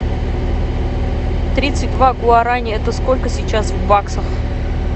тридцать два гуарани это сколько сейчас в баксах